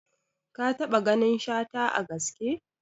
Ka taɓa ganin Shata a gaske?